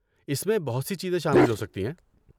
اس میں بہت سی چیزیں شامل ہو سکتی ہیں